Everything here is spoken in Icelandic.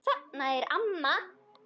Þarna er amma!